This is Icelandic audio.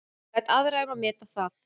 Ég læt aðra um að meta það.